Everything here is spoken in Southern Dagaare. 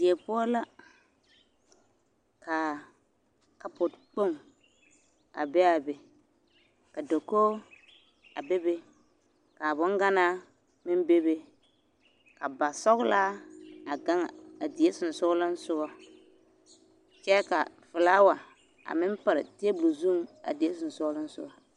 Die poɔ la ka kapo kpoŋ a be a be ka dakogi a bebe ka boŋgnaa meŋ bebe ka basɔgelaa a gaŋ a die sonsoolensogɔ kyɛ ka felaawa a meŋ pare teebol zuŋ a die sonsoolensogɔ.